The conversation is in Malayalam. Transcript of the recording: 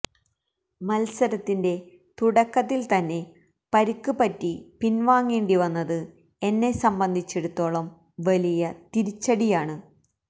മത്സരത്തിന്റെ തുടക്കത്തിൽ തന്നെ പരിക്ക് പറ്റി പിൻവാങ്ങേണ്ടിവന്നത് എന്നെ സംബന്ധിച്ചിടത്തോളം വലിയ തിരിച്ചടിയാണ്